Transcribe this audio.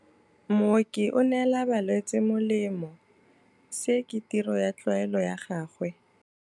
Mooki o neela balwetse molemô, se ke tirô ya tlwaelô ya gagwe.